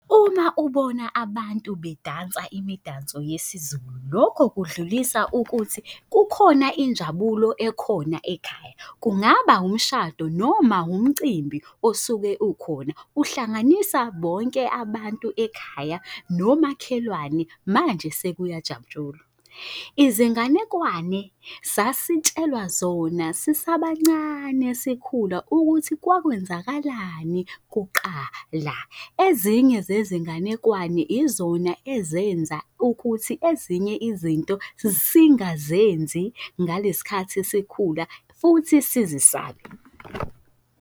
Uma ubona abantu bedansa imidanso yesiZulu, lokho kudlulisa ukuthi kukhona injabulo ekhona ekhaya. Kungaba umshado noma umcimbi osuke ukhona uhlanganisa bonke abantu ekhaya nomakhelwane, manje sekuyajatshulwa. Izinganekwane sasitshelwa zona sisabancane sikhula ukuthi kwakwenzakalani kuqala. Ezinye zezinganekwane izona ezenza ukuthi ezinye izinto singazenzi ngalesikhathi sikhula, futhi sizisabe.